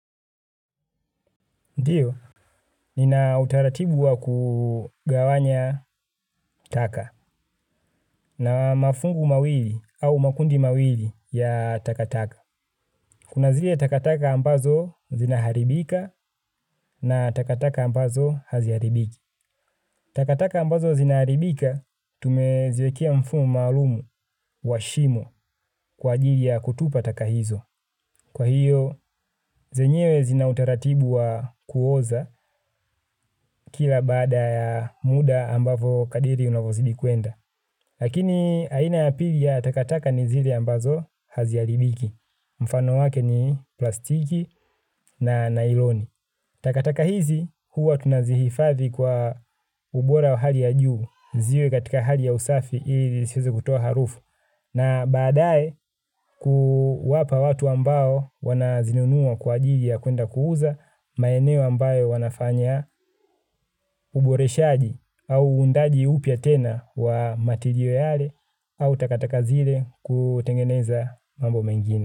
Ndiyo, nina utaratibu wa kugawanya taka na mafungu mawili au makundi mawili ya takataka. Kuna zile takataka ambazo zinaharibika na takataka ambazo haziaribiki. Takataka ambazo zinaharibika, tumeziwekea mfumo maalumu wa shimo kwa ajili ya kutupa taka hizo. Kwa hiyo, zenyewe zina utaratibu wa kuoza kila baada ya muda ambavo kadiri unavozidi kuenda. Lakini, aina ya pili ya takataka ni zile ambazo haziharibiki. Mfano wake ni plastiki na nailoni. Takataka hizi, huwa tunazihifadhi kwa ubora wa hali ya juu. Ziwe katika hali ya usafi, ili zisize kutoa harufu. Na baadaye kuwapa watu ambao wanazinunuwa kwa ajili ya kwenda kuuza maeneo ambayo wanafanya uboreshaji au uundaji upya tena wa matirial yale au takataka zile kutengeneza mambo mengine.